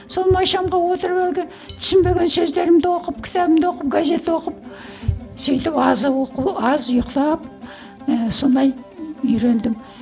сол май шамға отырып әлгі түсінбеген сөздерімді оқып кітабымды оқып газет оқып сөйтіп оқу аз ұйықтап ііі сондай үйрендім